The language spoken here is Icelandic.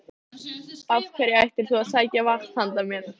Nei, því miður, liggur mér við að segja.